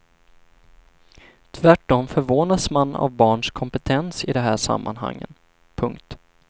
Tvärtom förvånas man av barns kompetens i de här sammanhangen. punkt